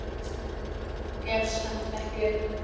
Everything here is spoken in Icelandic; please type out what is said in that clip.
Gefst samt ekki upp.